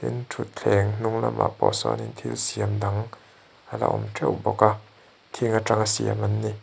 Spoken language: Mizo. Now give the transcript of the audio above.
ṭhuthleng hnung lamah pawh sawnin thil siam dang ala awm ṭeuh bawk a thing aṭang a siam an ni.